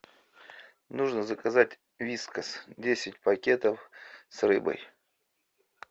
нужно заказать вискас десять пакетов с рыбой